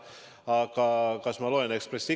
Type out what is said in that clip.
Aga kas ma loen Ekspressi?